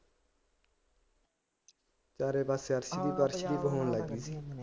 ਚਾਰੇ ਪਾਸੇ ਅਰਸ਼ਦੀਪ ਅਰਸ਼ਦੀਪ। ਹੋਣ ਲੱਗ ਗਈ ਸੀ